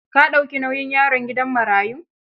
Ka dauki nauyin yaron gidan marayun?